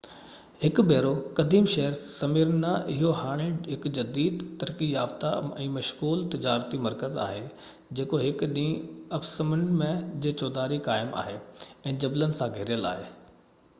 هڪ ڀيرو قديم شهر سميرنا اهو هاڻي هڪ جديد ترقي يافتہ ۽ مشغول تجارتي مرڪز آهي جيڪو هڪ وڏي اُپسمنڊ جي چوڌاري قائم آهي ۽ جبلن سان گهيريل آهي